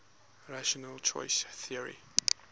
rational choice theory